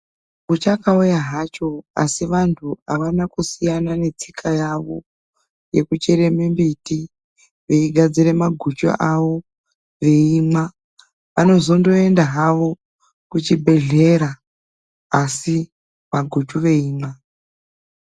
Pechakauya hacho, asi antu havana kusiyana netsika yavo yekuchere mimbiti, veigadzira maguchu avo veimwa. Vanozondoenda havo kuchibhedhlera asi maguchu veimwa.